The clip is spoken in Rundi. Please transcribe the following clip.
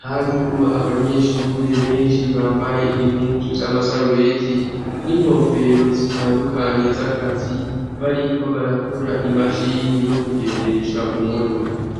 harimwo abanyeshure benshi bambaye impuzu z'amasarubeti n'inkofero zitandukanye z'akazi bariko barakora imashini yo kugendesha mu modoka